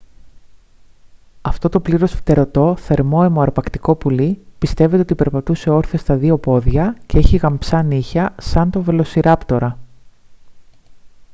αυτό το πλήρως φτερωτό θερμόαιμο αρπακτικό πουλί πιστεύεται ότι περπατούσε όρθιο στα δύο πόδια και είχε γαμψά νύχια σαν τον βελοσιράπτορα